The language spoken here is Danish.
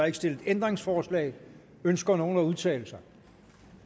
ikke stillet ændringsforslag ønsker nogen at udtale sig